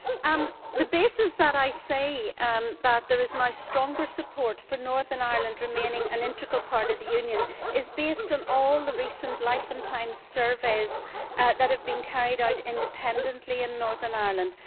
My reason for saying that there is now stronger support for Northern Ireland remaining an integral part of the Union is based on all the recent Life and Times Surveys that have been carried out independently in Northern Ireland.